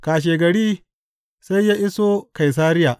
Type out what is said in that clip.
Kashegari sai ya iso Kaisariya.